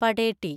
പടേട്ടി